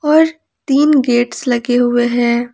और तीन गेट्स लगे हुए हैं।